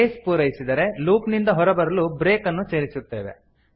case ಪೂರೈಸಿದರೆ loop ನಿಂದ ಹೊರಬರಲು ಬ್ರೇಕ್ ಅನ್ನು ಸೇರಿಸುತ್ತೇವೆ